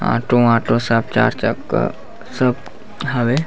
Auto auto सब चार चक्का सब हवे।